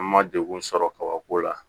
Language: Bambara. An ma degun sɔrɔ kabako la